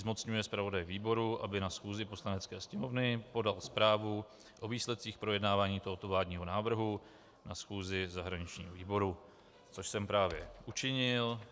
Zmocňuje zpravodaje výboru, aby na schůzi Poslanecké sněmovny podal zprávu o výsledcích projednávání tohoto vládního návrhu na schůzi zahraničního výboru - což jsem právě učinil.